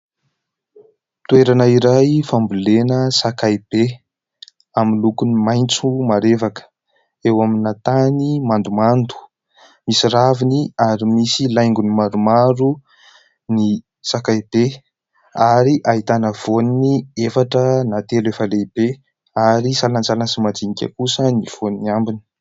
Toerana iray fambolena sakay be. Amin'ny lokony maitso marevaka, eo amin'ny tany mandomando. Misy raviny, ary misy laingony maromaro ny sakay be, ary ahitana voniny efatra na telo efa lehibe, ary salantsalany sy majinika kosa ny vonin'ny ambiny.